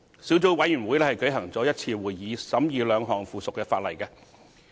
小組委員會舉行了1次會議，審議兩項附屬法例。